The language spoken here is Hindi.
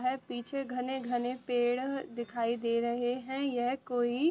है पीछे घने-घने पेड़ दिखाई दे रहे हैं यह कोई --